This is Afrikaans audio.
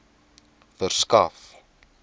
verskaf